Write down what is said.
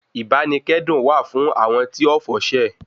Ìbánikẹ́dùn wà fún àwọn tí ọ̀fọ̀ ṣẹ̀